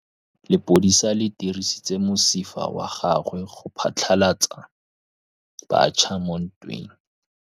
Lepodisa le dirisitse mosifa wa gagwe go phatlalatsa batšha mo ntweng.